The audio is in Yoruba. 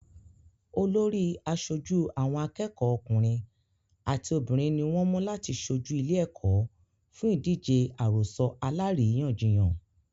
Olórí àṣojú àwọn akẹ́kọ̀ọ́ ọkùnrin àti obìnrin ní wọ́n mú láti ṣojú ìlé-ẹ̀kọ́ fún ìdíje àròsọ alárìíyànjiyàn.